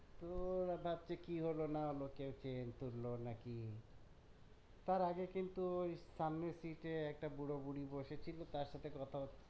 তো ওরা ভাবছে কি হল না হলো কেও chain তুললো নাকি তার আগে কিন্তু ওই সামনের sit এ একটা বুড়ো বুড়ি বসে ছিলো তার সাথে কথা হচ্ছিল